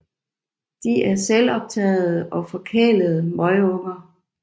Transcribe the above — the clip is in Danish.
De er selvoptagede og forkælede møgunger